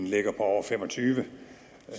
ligger over fem og tyve